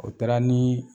O taara nii